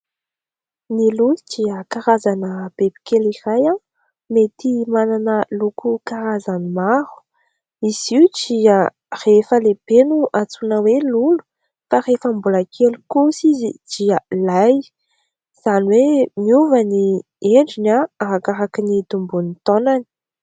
Ny lolo dia karazana bibikely iray mety manana loko karazany maro. Izy io rehefa lehibe no antsoina hoe lolo fa rehefa mbola kely kosa izy dia lay. Izany hoe miova ny endriny arakaraky ny itomboan'ny taonany.